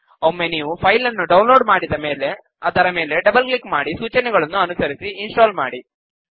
ಒಮ್ಮೆ ನೀವು ಫೈಲ್ ನ್ನು ಡೌನ್ ಲೋಡ್ ಮಾಡಿದ ಮೇಲೆ ಅದರ ಮೇಲೆ ಡಬಲ್ ಕ್ಲಿಕ್ ಮಾಡಿ ಸೂಚನೆಗಳನ್ನು ಅನುಸರಿಸಿ ಇನ್ ಸ್ಟಾಲ್ ಮಾಡಿ